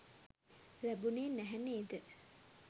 ලැබුණේ නැහැ නේද?